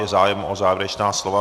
Je zájem o závěrečná slova?